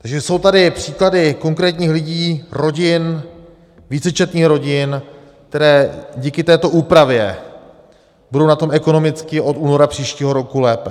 Takže jsou tady příklady konkrétních lidí, rodin, vícečetných rodin, které díky této úpravě budou na tom ekonomicky od února příštího roku lépe.